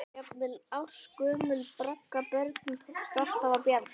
Jafnvel ársgömlum braggabörnum tókst alltaf að bjarga.